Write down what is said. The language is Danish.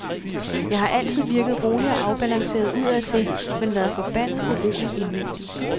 Jeg har altid virket rolig og afbalanceret udadtil, men været forbandet urolig indvendig.